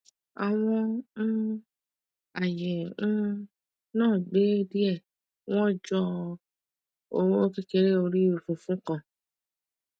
àwọn um aye um naa gbẹ die wọn jọ oowo kekere orí funfun kan